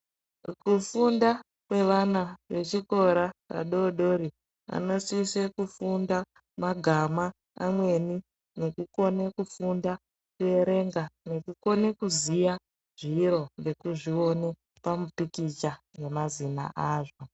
Kufunda kwevana vechikora vadodori, anosise kufunda kuona magama amweni ,ngekukone kufunda nekuerenga nekukone kuziya zviro ngekuzvione pamupikicha nemazina azvo.